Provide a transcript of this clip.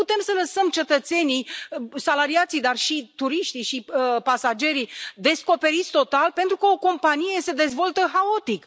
Nu putem să lăsăm cetățenii, salariații, dar și turiștii și pasagerii descoperiți total pentru că o companie se dezvoltă haotic.